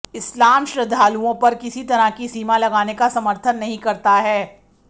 इस्लाम श्रद्धालुओं पर किसी तरह की सीमा लगाने का समर्थन नहीं करता है